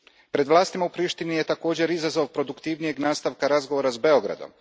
Pred vlastima u Prištini je također izazov produktivnijeg nastavka razgovora s Beogradom.